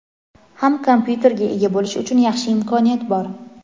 ham kompyuterga ega bo‘lish uchun yaxshi imkoniyat bor.